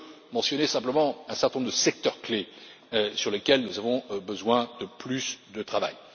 Je veux mentionner simplement un certain nombre de secteurs clés sur lesquels nous avons besoin de plus de travail.